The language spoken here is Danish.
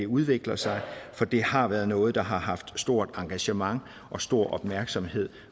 udvikler sig for det har været noget der har haft stort engagement og stor opmærksomhed